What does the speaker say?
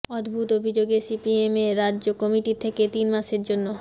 অদ্ভুত অভিযোগে সিপিএমের রাজ্য কমিটি থেকে তিন মাসের জন্য